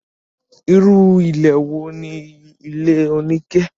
irú ilé wo ni ilé oníke?